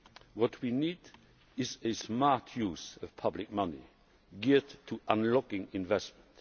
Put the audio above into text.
What we need is a smart use of public money geared to unlocking investment.